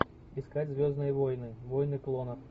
искать звездные войны войны клонов